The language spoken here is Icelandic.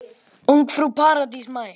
Ungfrú Paradís mætt!